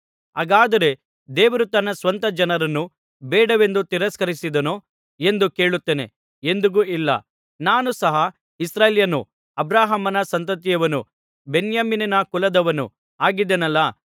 ಹಾಗಾದರೆ ದೇವರು ತನ್ನ ಸ್ವಂತ ಜನರನ್ನು ಬೇಡವೆಂದು ತಿರಸ್ಕರಿಸಿದನೋ ಎಂದು ಕೇಳುತ್ತೇನೆ ಎಂದಿಗೂ ಇಲ್ಲ ನಾನು ಸಹ ಇಸ್ರಾಯೇಲ್ಯನು ಅಬ್ರಹಾಮನ ಸಂತತಿಯವನು ಬೆನ್ಯಾಮೀನನ ಕುಲದವನು ಆಗಿದ್ದೇನಲ್ಲಾ